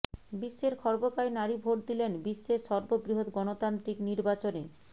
বিশ্বের খর্বকায় নারী ভোট দিলেন বিশ্বের সর্ববৃহৎ গণতান্ত্রিক নির্বাচনে